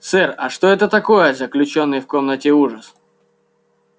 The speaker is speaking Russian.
сэр а что это такое заключённый в комнате ужас